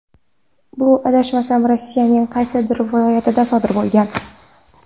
Bu adashmasam Rossiyaning qaysidir viloyatida sodir bo‘lgan.